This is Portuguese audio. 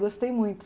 Gostei muito.